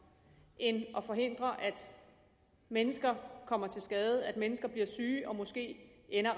end at forhindre at mennesker kommer til skade at mennesker bliver syge og måske ender